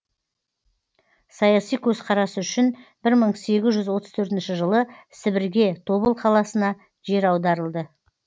саяси көзқарасы үшін бір мың сегіз жүз отыз төртінші жылы сібірге тобыл қаласына жер аударылды